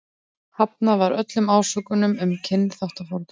Hafnað var öllum ásökunum um kynþáttafordóma.